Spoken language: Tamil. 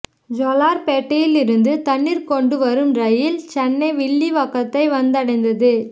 ஜோலார்பேட்டையில் இருந்து தண்ணீர் கொண்டு வரும் ரயில் சென்னை வில்லிவாக்கத்தை வந்தடைந்தது